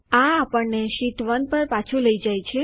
આ આપણને શીટ 1 પર પાછું લઇ જાય છે